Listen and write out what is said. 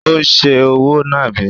Ó ń se òwò nàbì.